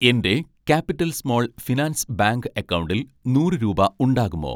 എൻ്റെ capital small finance bank അക്കൗണ്ടിൽ നൂറ്‌ രൂപ ഉണ്ടാകുമോ?